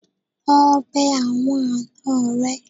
Lọ bẹ àwọn àna rẹ.